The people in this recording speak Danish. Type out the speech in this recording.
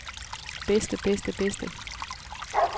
bedste bedste bedste